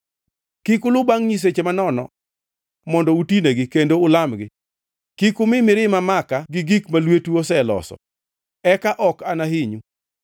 Kik ulu bangʼ nyiseche manono mondo utinegi kendo ulamgi; kik umi mirima maka gi gik ma lwetu oseloso. Eka ok anahinyu.”